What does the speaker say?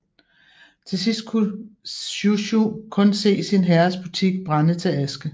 Til sidst kunne Shushu kun se sin herres butik brænde til aske